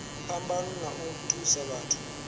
phambano na u thusa vhathu